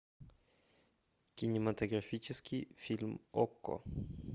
кинематографический фильм окко